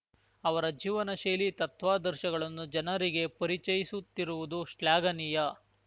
ಅವರ ಜೀವನಶೈಲಿ ತತ್ವಾದರ್ಶಗಳನ್ನು ಜನರಿಗೆ ಪರಿಚಯಿಸುತ್ತಿರುವುದು ಶ್ಲಾಘನೀಯ